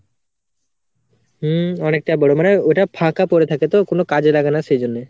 হম অনেকটাই বড়, মানে ওটা ফাঁকা পড়ে থাকে তো কোনো কাজে লাগে না সেই জন্যে